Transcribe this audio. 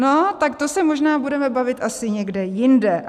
No, tak to se možná budeme bavit asi někde jinde.